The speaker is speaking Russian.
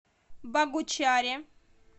богучаре